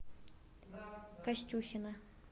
костюхина